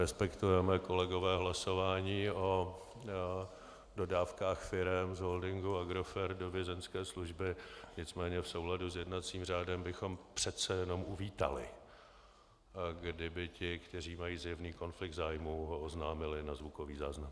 Respektujeme, kolegové, hlasování o dodávkách firem z holdingu Agrofert do Vězeňské služby, nicméně v souladu s jednacím řádem bychom přece jenom uvítali, kdyby ti, kteří mají zjevný konflikt zájmů, ho oznámili na zvukový záznam.